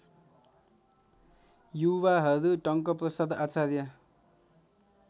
युवाहरू टंकप्रसाद आचार्य